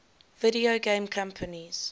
video game companies